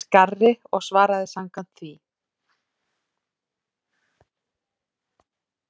Ég las garri og svaraði samkvæmt því.